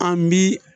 An bi